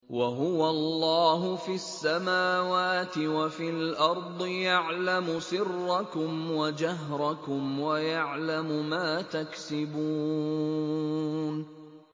وَهُوَ اللَّهُ فِي السَّمَاوَاتِ وَفِي الْأَرْضِ ۖ يَعْلَمُ سِرَّكُمْ وَجَهْرَكُمْ وَيَعْلَمُ مَا تَكْسِبُونَ